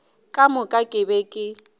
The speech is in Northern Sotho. le ka moka ke be